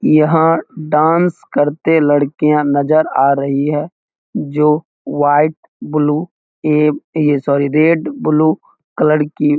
यहां डांस करते लड़कियां नजर आ रही है | जो व्हाइट ब्लू ये ए सॉरी रेड ब्लू कलर की--